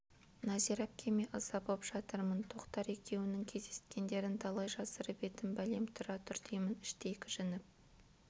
нәзира әпкеме ыза боп жатырмын тоқтар екеуінің кездескендерін талай жасырып едім бәлем тұра тұр деймін іштей кіжініп